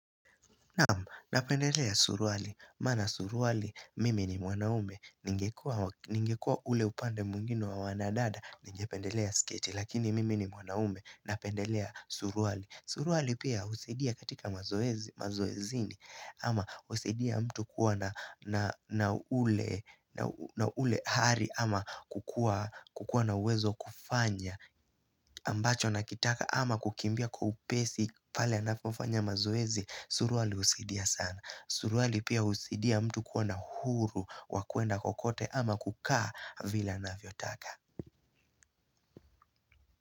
Napendelea suruali, maana suruali mimi ni mwanaume, ningekua ule upande mwngine wa wanadada, ningependelea sketi, lakini mimi ni mwanaume napendelea suruali. Suruali pia husaidia katika mazoezini, ama husaidia mtu kuwa na ule hali, ama kukua na uwezo wa kufanya ambacho anakitaka ama kukimbia kwa upesi pale anapofanya mazoezi suruali husidia sana suruali pia husaidia mtu kuwa na uhuru wa kuenda kokote ama kukaa vila anavyotaka.